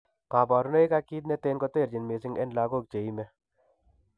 Kabarunaik ak kit neten koterchin mising en lagok cheime